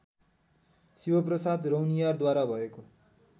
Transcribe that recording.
शिवप्रसाद रौनियारद्वारा भएको